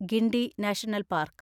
Guindy National park